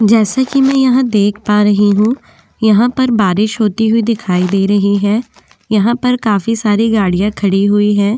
जैसे कि मैं यहाँ देख पा रही हूँ यहाँ पर बारिश होती हुई दिखाई दे रही है यहाँ पर काफी सारी गाड़ियां खड़ी हुई है।